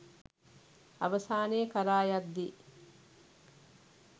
අවසානය කරා යද්දී